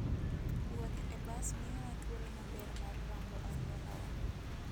Wuoth e bas miyowa thuolo maber mar rango alworawa.